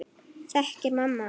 Þekkir mamma hann?